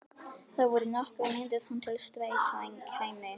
Það voru nokkrar mínútur þar til strætó kæmi.